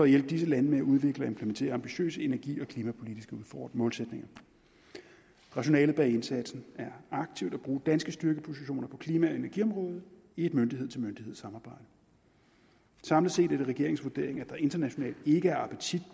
hjælpe disse lande med at udvikle og implementere ambitiøse energi og klimapolitiske målsætninger rationalet bag indsatsen er aktivt at bruge danske styrkepositioner på klima og energiområdet i et myndighed til myndighed samarbejde samlet set er det regeringens vurdering at der internationalt ikke er appetit